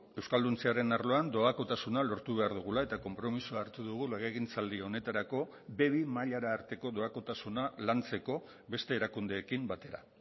euskalduntzearen arloan doakotasuna lortu behar dugula eta konpromisoa hartu dugu legegintzaldi honetarako be bi mailara arteko doakotasuna lantzeko beste erakundeekin batera